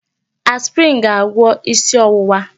Aspirin ga-agwọ isi ọwụwa.